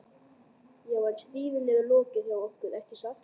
Já, en stríðinu er lokið hjá okkur, ekki satt?